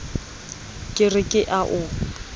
ke re ke a o